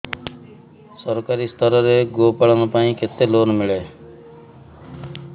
ସରକାରୀ ସ୍ତରରେ ଗୋ ପାଳନ ପାଇଁ କେତେ ଲୋନ୍ ମିଳେ